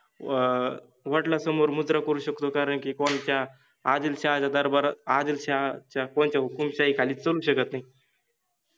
अ वडलासमोर मुजरा करु शकतो कारण कि कोंणत्या आदिलशाहाच्या दरबारात, आदिलशाहाच्या कोनाच्या हुकुमशाहिखालि करुच शकत नाहि.